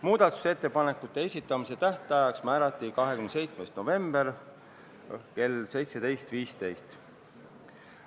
Muudatusettepanekute esitamise tähtajaks määrati 27. november kell 17.15.